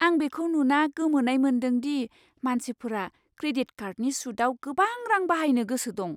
आं बेखौ नुना गोमोनाय मोन्दोंदि मानसिफोरा क्रेडिट कार्डनि सुतआव गोबां रां बाहायनो गोसो दं।